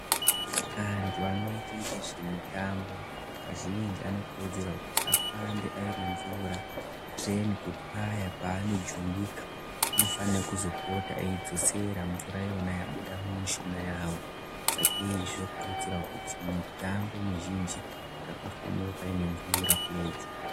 Antu anoite ngezve mutambo kazhinji anokurudzirwa kuyi afambe aine mvura kutIreni kuti paya paanozojuwika afane kuzobuda eidzosera mvura iyona yabuda Mushuga yawo sageizvo zvokurudzirwa kuzi mutambo mizhinji ngapafanire paine mvura pedyo.